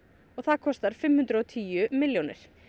og það kostar fimm hundruð og tíu milljónir